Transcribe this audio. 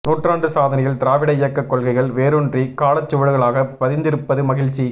நூற்றாண்டு சாதனையில் திராவிட இயக்கக் கொள்கைகள் வேரூன்றி காலச்சுவடுகளாக பதிந்திருப்பது மகிழ்ச்சி